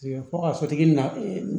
Fɔ ka sotigi na